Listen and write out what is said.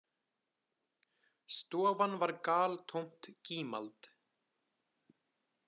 Stofan var galtómt gímald.